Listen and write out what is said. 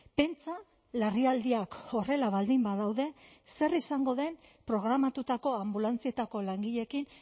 pentsa larrialdiak horrela baldin badaude zer izango den programatutakoa anbulantzietako langileekin